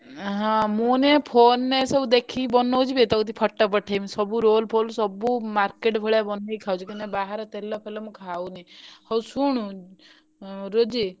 ଉଁ ହଁ ମୁଁ ନୁହେ phone ରେ ସବୁ ଦେଖିକି ବନଉଛି ବେ ତୋ କତିକି photo ପଠେଇବି ସବୁ ରୋଲ ଫୋଲସବୁ market ଭଳିଆ ବନେଇକି ଖାଉଛି କିନ୍ତୁ ବାହାରେ ତେଲ ଫେଲ ମୁଁ ଖାଉନି ହଉ ଶୁଣୁ ରୋଜି।